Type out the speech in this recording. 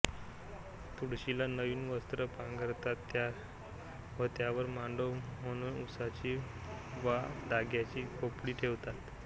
तुळशीला नवीन वस्त्र पांघरतात व त्यावर मांडव म्हणून उसाची वा धांड्याची खोपटी ठेवतात